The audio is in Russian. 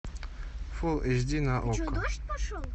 фул эйч ди на окко